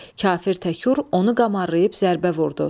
Kafir Təkur onu qamarlayıb zərbə vurdu.